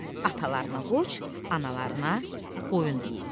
Atalarına qoç, analarına qoyun deyirlər.